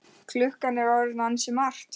Klukkan er orðin ansi margt.